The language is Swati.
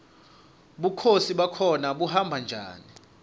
bukhosi bakhona buhamba njani